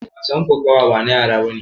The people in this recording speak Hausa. Wasan kokawa bana yara bane.